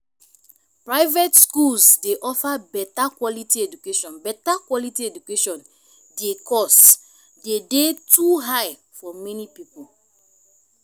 private schools dey offer beta quality education beta quality education di cost dey dey too high for many people.